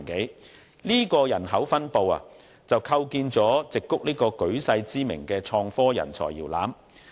以上的人口分布，構建出矽谷這個舉世知名的創科人才搖籃。